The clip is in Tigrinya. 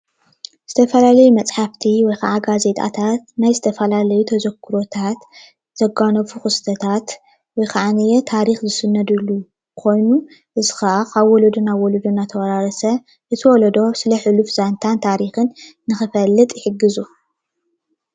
ዝተፈላለዩ መፅሓፍቲ ወይ ጋዜጣታት ናይ ዝተፈላለዩ ተዘክሮታት ዘጋነፉ ክስተታት ወይ ከዓ ታሪክ ዝስነደሉ ኮይኑ እዚ ከዓ ካብ ወለዶ ናብ ወለዶ እንዳተወራረሰ እዚ ወለዶ ዘንታን ታሪክን ንክፈልጥ ይሕግዙ፡፡